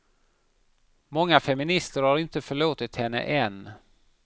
Många feminister har inte förlåtit henne än.